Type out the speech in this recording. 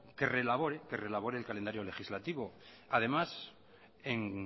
que reelabore el calendario legislativo además en